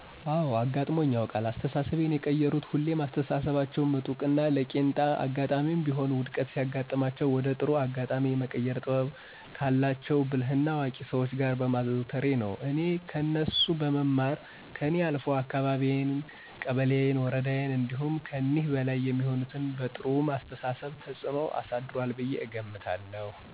አወ አጋጥሞኝ ያውቃል። አስተሳሰቤን የቀየሩት ሁሌም በአስተሳሰባቸው ምጡቅና ለቄንጣ አጋጣሜም ቢሆን ውድቀት ሲያጋጥማቸው ወደ ጥሩ አጋጣሜ የመቀየር ጥበብ ካላቸው ብልህና አዋቂ ሰዎች ጋር በማዘውተሬ ነው። እኔ ከነሱ በመማር ከኔ አልፎ አካባቢየን፣ ቀበሌየን፣ ወረዳየን እንዲሁም ከኒህ በላይ የሚገኙትም በጥሩው አስተሳሰብ ተፅኖ አሳድሯል ብየ እገምታለሁ።